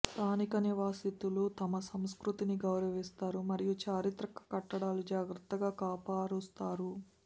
స్థానిక నివాసితులు తమ సంస్కృతిని గౌరవిస్తారు మరియు చారిత్రక కట్టడాలు జాగ్రత్తగా కాపరుస్తారు